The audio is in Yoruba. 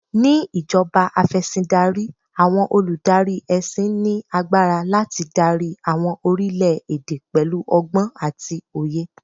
Ni ìjọba Afẹ̀sìndarí, àwọn olùdarí ẹṣin ní agbára láti dári àwọn orílè èdè pẹ̀lú ọgbọ́n àti òye.